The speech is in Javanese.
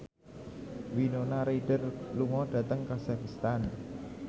Winona Ryder lunga dhateng kazakhstan